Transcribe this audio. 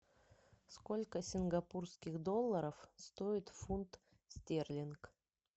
сколько сингапурских долларов стоит фунт стерлинг